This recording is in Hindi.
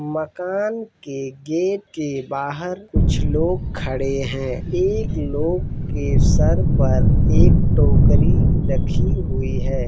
मकान के गेट के बाहर कुछ लोग खड़े है। एक लोग के सर पर एक टोकरी रखी हुई है।